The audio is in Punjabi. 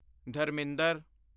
ਧਰਮਿੰਦਰ